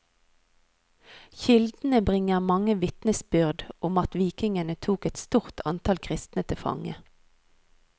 Kildene bringer mange vitnesbyrd om at vikingene tok et stort antall kristne til fange.